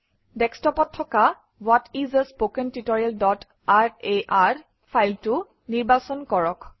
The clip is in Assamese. ডেস্কটপত থকা ৱ্হাট ইচ a স্পোকেন tutorialৰাৰ ফাইলটো নিৰ্বাচন কৰক